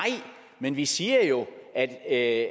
men vi siger jo at